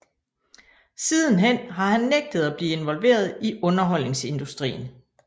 Sidenhen har han nægtet at blive involveret i underholdningsindustrien